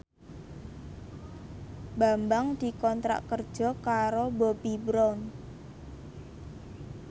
Bambang dikontrak kerja karo Bobbi Brown